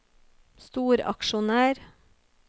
storaksjonær